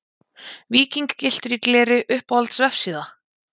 Víking gylltur í gleri Uppáhalds vefsíða?